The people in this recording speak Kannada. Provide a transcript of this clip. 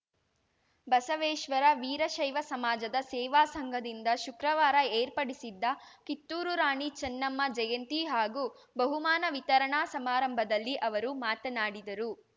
ಬಸವೇಶ್ವರ ವೀರಶೈವ ಸಮಾಜದ ಸೇವಾ ಸಂಘದಿಂದ ಶುಕ್ರವಾರ ಏರ್ಪಡಿಸಿದ್ದ ಕಿತ್ತೂರು ರಾಣಿ ಚೆನ್ನಮ್ಮ ಜಯಂತಿ ಹಾಗೂ ಬಹುಮಾನ ವಿತರಣಾ ಸಮಾರಂಭದಲ್ಲಿ ಅವರು ಮಾತನಾಡಿದರು